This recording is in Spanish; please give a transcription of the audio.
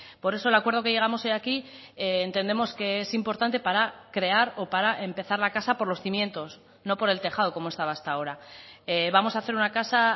por eso el acuerdo que llegamos hoy aquí entendemos que es importante para crear o para empezar la casa por los cimientos no por el tejado como estaba hasta ahora vamos a hacer una casa